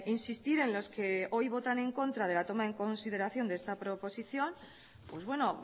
insistir en los que hoy votan en contra de la toma en consideración de esta proposición pues bueno